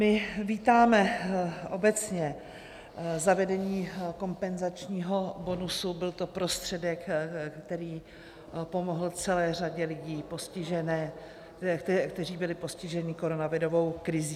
My vítáme obecně zavedení kompenzačního bonusu, byl to prostředek, který pomohl celé řadě lidí, kteří byli postiženi koronavirovou krizí.